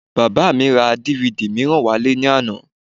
Bàbá mi ra DVD mìíràn wálé ní àná